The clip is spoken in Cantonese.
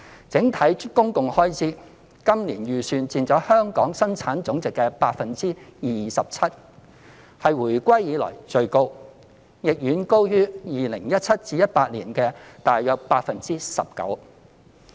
在整體公共開支方面，今年的預算佔香港的本地生產總值 27%， 是回歸以來最高，亦遠高於 2017-2018 年度的約 19%。